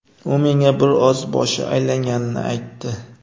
U menga bir oz boshi aylanganini aytdi.